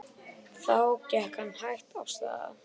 Þá gekk hann hægt af stað.